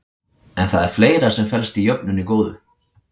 En það er fleira sem felst í jöfnunni góðu.